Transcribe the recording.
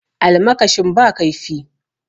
Almakashin ba kaifi